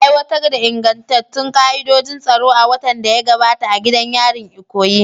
Aiwatar da ingantattun ka'idojin tsaro a watan da ya gabata a gidan yarin Ikoyi.